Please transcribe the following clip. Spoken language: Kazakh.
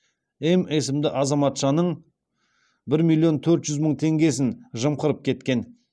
м есімді азаматшаның бір миллион төрт жүз мың теңгесін жымқырып кеткен